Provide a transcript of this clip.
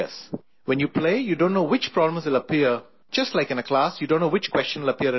When you play, you don't know, which pawn will appear, just like in a class you don't know, which question will appear in an exam